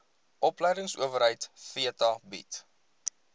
opleidingsowerheid theta bied